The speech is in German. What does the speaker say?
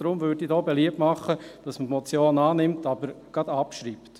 Deshalb würde ich hier beliebt machen, dass man die Motion annimmt, aber gleich abschreibt.